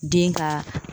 Den ka